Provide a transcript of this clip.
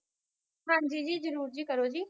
ਹਨਜੀ, ਜੀ ਜਰੂਰ ਜੀ ਕਰੋ ਜੀ